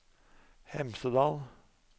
Hemsedal